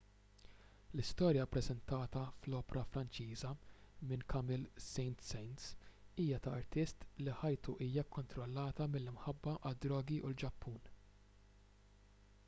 l-istorja ppreżentata fl-opra franċiża minn camille saint-saens hija ta' artist li ħajtu hija kkontrollata mill-imħabba għad-drogi u l-ġappun